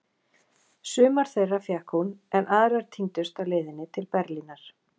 Sumar þeirra fékk hún, en aðrar týndust á leiðinni til Berlínar.